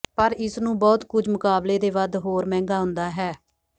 ਪਰ ਇਸ ਨੂੰ ਬਹੁਤ ਕੁਝ ਮੁਕਾਬਲੇ ਦੇ ਵੱਧ ਹੋਰ ਮਹਿੰਗਾ ਹੁੰਦਾ ਹੈ